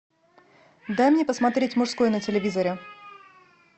дай мне посмотреть мужское на телевизоре